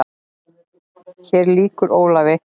Hér lýkur Ólafi.